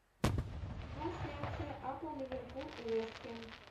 трансляция апл ливерпуль и вест хэм